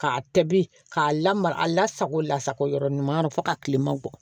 K'a tɛbi k'a lamara a lasago lasago yɔrɔ ɲuman na fo ka tilema bɔ